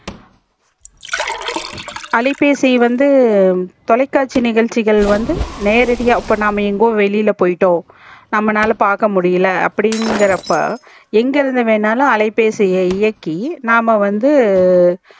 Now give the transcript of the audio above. அலைபேசி வந்து தொலைகாட்சி நிகழ்ச்சிகள் வந்து நேரடியா இப்போ நம்ப வெளியில போய்ட்டோம் நம்பளால பாக்க முடில அப்டி இங்கரப்போ எங்க இருந்து வேணாலும் அலைபேசியை இயக்கி நாம வந்து